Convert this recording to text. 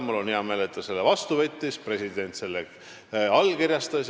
Mul on hea meel, et ta selle vastu võttis ja president selle otsuse allkirjastas.